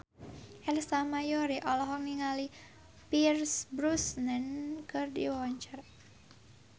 Ersa Mayori olohok ningali Pierce Brosnan keur diwawancara